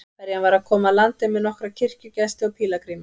Ferjan var að koma að landi með nokkra kirkjugesti og pílagríma.